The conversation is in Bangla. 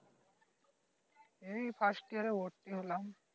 এই First year ভর্তি হলাম